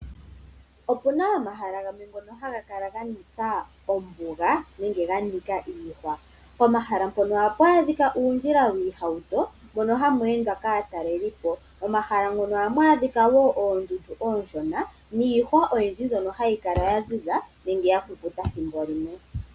Opuna omahala gamwe ngoka haga kala ganika ombuga nenge ganika iihwa pomahala mpoka ohapu adhika uundjila wiihauto mpoka hapu endwa kaatalelipo, momahala moka ohamu adhika wo oondundu oshona niihwa oyindji mbyoka hayi kala yaziza nenge yakukuta ethimbo limwe.